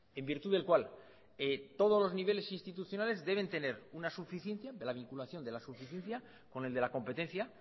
en virtud del cual todos los niveles institucionales deben tener una suficiencia de la vinculación de la suficiencia con el de la competencia